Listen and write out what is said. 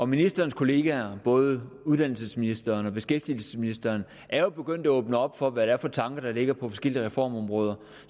ministerens kollegaer både uddannelsesministeren og beskæftigelsesministeren er jo begyndt at åbne op for hvad det er for tanker der ligger på forskellige reformområder og